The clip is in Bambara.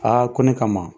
Aa ko ne kama